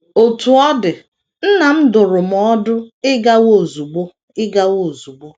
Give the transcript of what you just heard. Otú ọ dị, nna m dụrụ m ọdụ ịgawa ozugbo. ịgawa ozugbo.